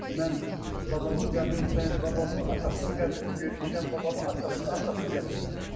Mən babamın qəbrini, babamın atasının qəbrini görmüşəm, babamın atasının atasının qəbrini görmüşəm.